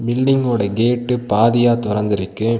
Building ஓட gate பாதிய தொறந்திருக்கு.